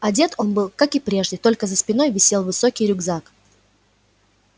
одет он был как и прежде только за спиной висел высокий рюкзак